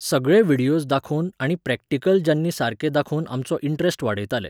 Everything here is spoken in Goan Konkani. सगळे व्हिडियोज दाखोवन आनी प्रॅक्टिकलजांनी सारकें दाखोवन आमचो इंट्रॅस्ट वाडयताले.